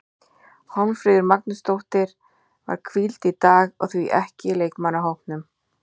Hólmfríður Magnúsdóttir var hvíld í dag og því ekki í leikmannahópnum.